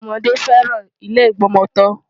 Àwọn ọmọdé fẹ́ràn ilé ìgbọmọtọ́.